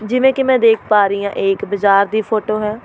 ਜਿਵੇਂ ਕਿ ਮੈਂ ਦੇਖ ਪਾ ਰਹੀ ਹਾਂ ਇਹ ਇੱਕ ਬਜ਼ਾਰ ਦੀ ਫੋਟੋ ਹੈ।